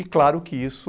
E claro que isso...